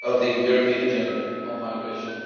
of the European Agenda on Migration.